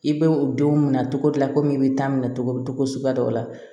I bɛ u denw minɛ cogo di komi i bɛ taa minɛ cogo suguya dɔw la